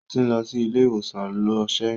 Ó ti ń lọ sí ilé ìwòsàn lọ ṣẹ́yún.